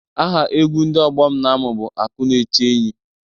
Aha egwu ndị ọgbọ m na-amụ bụ Akụ na-eche enyi.